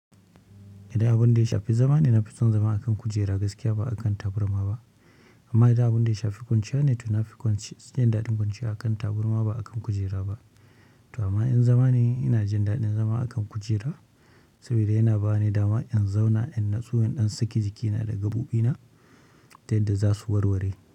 Idan abinda ya shafi zamane nafison zama akan kujera gaskiya ba akan tabarma ba amma idan abun da ya shafi kwanciya ne, to na fi son jin daɗin kwanciya a kan taburma ba a kan kujera ba. To amma in zama ne ina jin daɗin zama a kan kujera saboda yana ba ni dama in zauna in nutsu in ɗan saki jikina daga bu ɗina ta yadda za su warware.